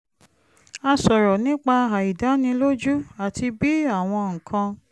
a sọ̀rọ̀ nípa àìdánilójú àti bí àwọn nǹkan